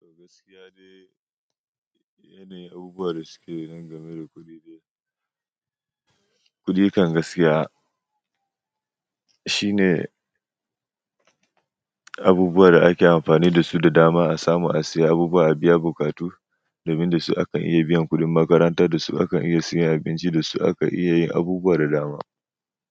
Gaskiya de, yanayin abubuwa da suke nan game da kuɗi dai. Kuɗi kan gaskiya shine abubuwan da ake amfani da su da dama a samu a siya abubuwa, a biya bukatu, domin da su akan iya biyan kuɗin makaranta, da su akan iya siyan abinci, da su aka iya yin abubuwa da dama.